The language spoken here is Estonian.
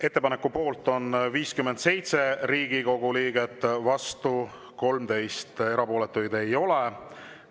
Ettepaneku poolt on 57 Riigikogu liiget, vastu 13, erapooletuid ei ole.